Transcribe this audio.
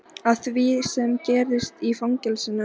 Af því sem gerðist í fangelsinu.